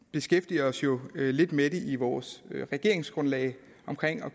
beskæftiger os jo lidt med det i vores regeringsgrundlag